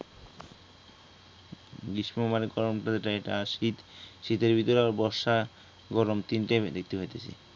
গ্রীষ্ম মনে করেন কেমন পরে এইটা আর শীত, শীতের ভিতরে আবার বর্ষা গরম তিনটাই আমি দেখতে পাইতেছি